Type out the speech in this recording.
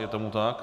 Je tomu tak?